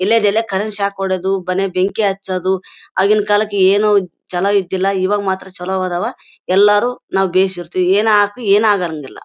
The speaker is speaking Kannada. ವಿಳ್ಳೆ ದೆಲೆ ಕರಗಿಸಿ ಹಾಕೊಡೋದು ಮನೆಗೆ ಬೆಂಕಿ ಹಚ್ಚೋದು ಆಗಿನ ಕಾಲಕ್ಕೆ ಏನು ಚಲೋ ಇದ್ದಿಲ್ಲಾ. ಇವಾಗ ಮಾತ್ರ ಚಲೋ ಅದಾವ ಎಲ್ಲಾರು ನಾವು ಏನೆ ಹಾಕು ಏನು ಆಗಂಗಿಲ್ಲಾ.